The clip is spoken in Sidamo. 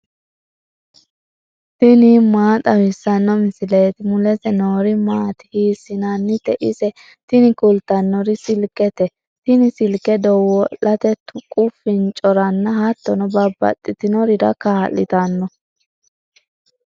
tini maa xawissanno misileeti ? mulese noori maati ? hiissinannite ise ? tini kultannori silkete. tini silke dawo'late, tuqu fincoranna hattono babbaxxinorira kaa'litanno.